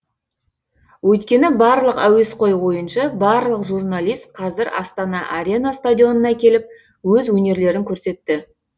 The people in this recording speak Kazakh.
өйткені барлық әуесқой ойыншы барлық журналист қазір астана арена стадионына келіп өз өнерлерін көрсетті